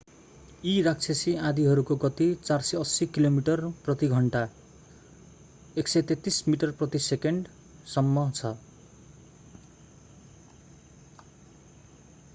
यी राक्षसी आँधीहरूको गती 480 किलोमिटर/घण्टा 133 मिटर/सेकेण्ड; 300 mph सम्म छ।